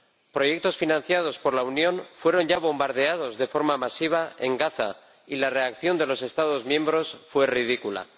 Proyectos financiados por la Unión fueron ya bombardeados de forma masiva en Gaza y la reacción de los Estados miembros fue ridícula.